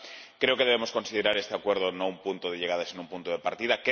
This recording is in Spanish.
Creo que no debemos considerar este acuerdo un punto de llegada, sino un punto de partida.